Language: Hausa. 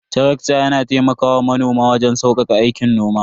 Tarakta yana taimakawa manoma waje saukaka aikin noma.